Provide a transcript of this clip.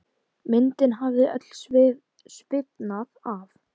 Myndin hafði öll sviðnað af.